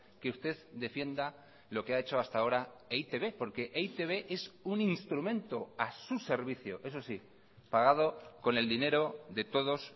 que usted defienda lo que ha hecho hasta ahora e i te be porque e i te be es un instrumento a su servicio eso sí pagado con el dinero de todos